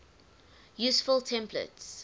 useful templates